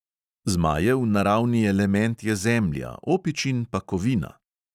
Zmajev naravni element je zemlja, opičin pa kovina.